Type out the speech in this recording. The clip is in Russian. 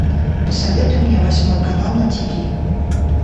посоветуй мне восьмой канал на тиви